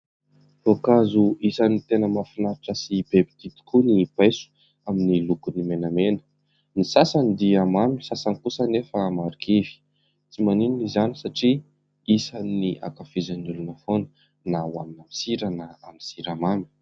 Voankazo isan'ny tena mahafinaritra sy be mpitia tokoa ny paiso, amin'ny lokony menamena. Ny sasany dia mamy, ny sasany kosa anefa marikivy. Tsy maninona izany satria isan'ny hankafizin'ny olona foana na ho hanina amin'ny sira na amin'ny siramamy.